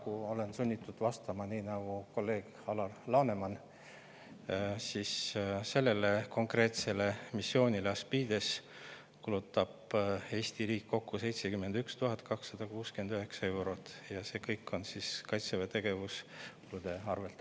Paraku olen sunnitud vastama nii nagu kolleeg Alar Laneman: sellele konkreetsele missioonile Aspides kulutab Eesti riik kokku 71 269 eurot ja see kõik tuleb Kaitseväe tegevuskulude arvel.